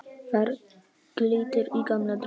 Þar glittir í gamla drauga.